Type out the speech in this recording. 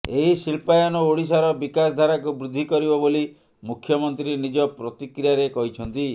ଏହି ଶିଳ୍ପାୟନ ଓଡିଶାର ବିକାଶଧାରାକୁ ବୃଦ୍ଧି କରିବ ବୋଲି ମୁଖ୍ୟମନ୍ତ୍ରୀ ନିଜ ପ୍ରତିକ୍ରିୟାରେ କହିଛନ୍ତି